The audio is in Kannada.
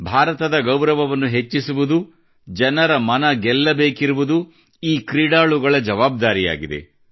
ಭಾರತದ ಗೌರವವನ್ನು ಹೆಚ್ಚಿಸುವುದು ಜನರ ಮನ ಗೆಲ್ಲಬೇಕಿರುವುದು ಈ ಕ್ರೀಡಾಳುಗಳ ಜವಾಬ್ದಾರಿಯಾಗಿದೆ